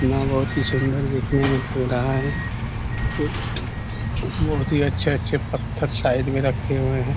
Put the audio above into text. बहुत ही सूंदर दिखने में लग रहा है बहुत ही अच्छे-अच्छे पत्थर साइड में रखे हुए है।